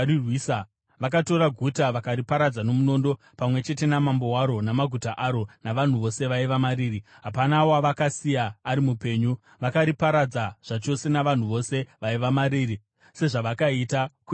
Vakatora guta vakariparadza nomunondo, pamwe chete namambo waro, namaguta aro, navanhu vose vaiva mariri. Hapana wavakasiya ari mupenyu. Vakariparadza zvachose navanhu vose vaiva mariri sezvavakaita kuEgironi.